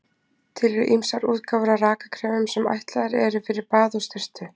Til eru ýmsar útgáfur af rakakremum sem ætlaðar eru fyrir bað og sturtu.